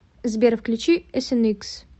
сбер включи эсэникс